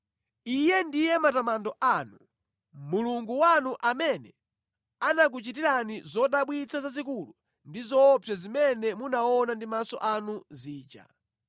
Iye ndiye matamando anu, Mulungu wanu amene anakuchitirani zodabwitsa zazikulu ndi zoopsa zimene munaona ndi maso anu zija.